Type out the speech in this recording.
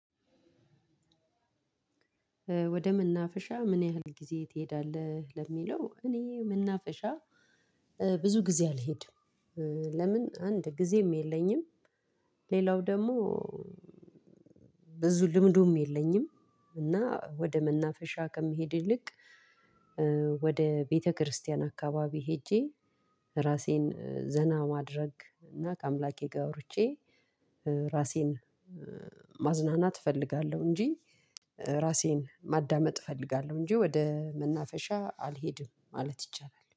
ወደ መናፈሻ ምን ያህል ጊዜ ትሄዳለህ? ለሚለው እኔ መናፈሻ ብዙ ጊዜ አልሄድም። ለምን አንድ ጊዜም የለኝም ሌላው ደግሞ ብዙ ልምዱም የለኝም። እና ወደ መናፈሻ ከሚሄድ ይልቅ ወደ ቤተክርስቲያን አካባቢ ሄጄ ራሴን ዘና ማድረግ እና ከአምላኬ ጋር አውርቼ ራሴን ማዝናናት እፈልጋለሁ እንጂ ራሴን ማዳመጥ እፈልጋለሁ እንጂ ወደ መናፈሻ አልሄድም ማለት ይቻላል።